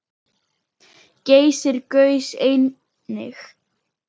Geysir gaus einnig.